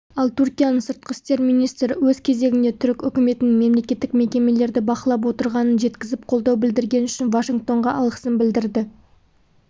ал түркияның сыртқы істер мннистрі өз кезегінде түрік үкіметінің мемлекеттік мекемелерді бақылап отырғанын жеткізіп қолдау білдіргені үшін вашингтонға алғысын білдірді